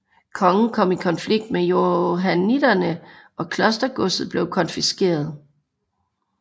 Kongen kom i konflikt med johanniterne og klostergodset blev konfiskeret